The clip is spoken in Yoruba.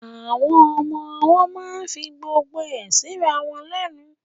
Àwọn ọmọ ọwọ́ máa ń fi gbogbo ẹ síra wọn lẹ́nu